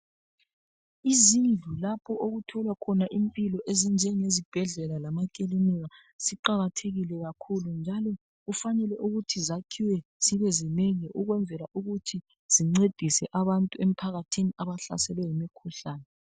Izindlu lapho okutholwa khona impilo, okunje ngezibhedlela lama ekilinika ziqakathekile kakhulu. Njalo kufanele ukuthi zakhiwe zibe ezinengi ukwenzela ukuthi zincedise abantu emphakathini abahlaselwe yimi khuhlane.